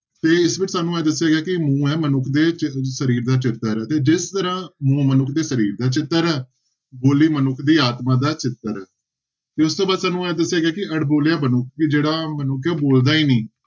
ਤੇ ਇਸ ਵਿੱਚ ਸਾਨੂੰ ਇਹ ਦੱਸਿਆ ਗਿਆ ਕਿ ਮੈਂ ਮਨੁੱਖ ਦੇ ਚ~ ਸਰੀਰ ਦਾ ਚੱਕਰ ਆ ਤੇ ਜਿਸ ਤਰ੍ਹਾਂ ਮਨੁੱਖ ਦੇ ਸਰੀਰ ਦਾ ਚੱਕਰ ਆ, ਬੋਲੀ ਮਨੁੱਖ ਦੀ ਆਤਮਾ ਦਾ ਚੱਕਰ ਹੈ ਤੇ ਉਸ ਤੋਂ ਬਾਅਦ ਸਾਨੂੰ ਇਹ ਦੱਸਿਆ ਗਿਆ ਕਿ ਅਣਬੋਲਿਆ ਮਨੁੱਖ ਕਿ ਜਿਹੜਾ ਮਨੁੱਖ ਬੋਲਦਾ ਹੀ ਨੀ।